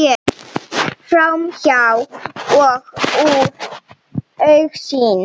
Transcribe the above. Framhjá og úr augsýn.